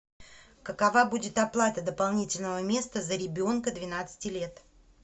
какова будет оплата дополнительного места за ребенка двенадцати лет